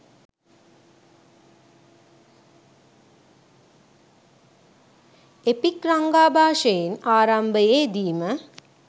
epic රංගාභාෂයෙන් ආරාම්භයේදීම